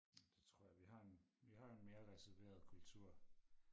Det tror jeg vi har en vi har en mere reserveret kultur